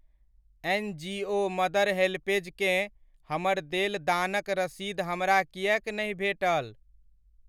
NGO Mother HelpAge केँ हमर देल दानक रसीद हमरा किएक नहि भेटल?